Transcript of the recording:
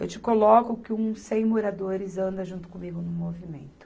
Eu te coloco que uns cem moradores andam junto comigo no movimento.